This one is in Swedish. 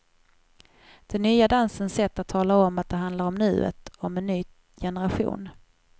Den nya dansens sätt att tala om att det handlar om nuet, om en ny generation.